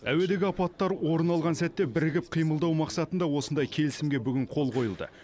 әуедегі апаттар орын алған сәтте бірігіп қимылдау мақсатында осындай келісімге бүгін қол қойылды